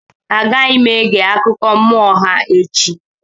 Agaghị m ege akụkọ mmụọ ha echi.